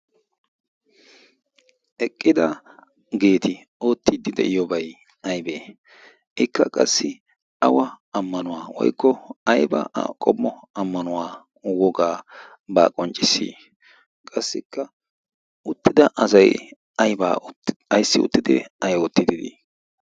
eqqidaageeti oottiiddi de7iyoobai aibee? ikka qassi awa ammanuwaa woikko aiba a qommo ammanuwaa wogaabaa qonccissi? qassikka uttida asai aibaa aissi uttidi ai oottiddi dii?